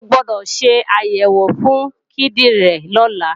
O gbọdọ̀ ṣe àyẹ̀wò fún kíndìnrín rẹ̀ lọ́la!